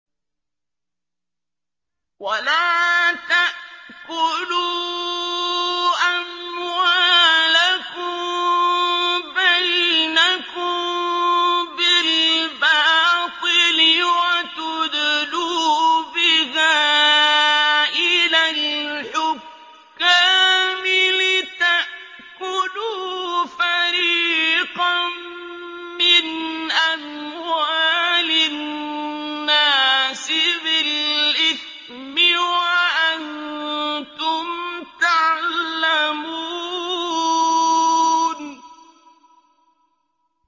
وَلَا تَأْكُلُوا أَمْوَالَكُم بَيْنَكُم بِالْبَاطِلِ وَتُدْلُوا بِهَا إِلَى الْحُكَّامِ لِتَأْكُلُوا فَرِيقًا مِّنْ أَمْوَالِ النَّاسِ بِالْإِثْمِ وَأَنتُمْ تَعْلَمُونَ